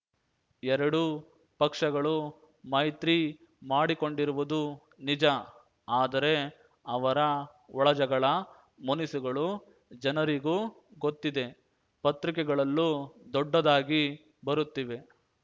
ಎರಡೂ ಪಕ್ಷಗಳು ಮೈತ್ರಿ ಮಾ‌ಡಿಕೊಂಡಿರುವುದು ನಿಜ ಆದರೆ ಅವರ ಒಳಜಗಳ ಮುನಿಸುಗಳು ಜನರಿಗೂ ಗೊತ್ತಿದೆ ಪತ್ರಿಕೆಗಳಲ್ಲೂ ದೊಡ್ಡದಾಗಿ ಬರುತ್ತಿವೆ